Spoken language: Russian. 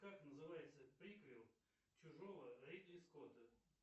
как называется приквел чужого ридли скотта